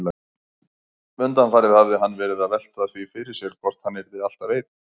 Undanfarið hafði hann verið að velta því fyrir sér hvort hann yrði alltaf einn.